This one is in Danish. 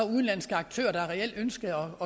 udenlandske aktører der reelt ønskede